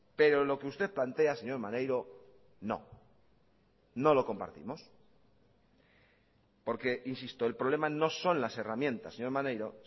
pero lo que usted plantea señor maneiro no no lo compartimos porque insisto el problema no son las herramientas señor maneiro